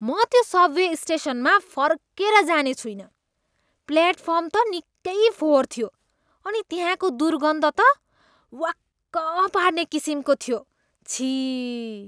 म त्यो सबवे स्टेसनमा फर्केर जाने छुइनँ। प्लेटफर्म त निकै फोहोर थियो अनि त्यहाँको दुर्गन्ध त वाक्क पार्ने किसिमको थियो, छिः।